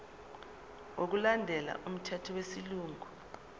ngokulandela umthetho wesilungu